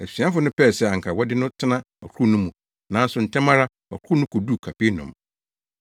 Asuafo no pɛɛ sɛ anka wɔde no tena ɔkorow no mu, nanso ntɛm ara ɔkorow no koduu Kapernaum.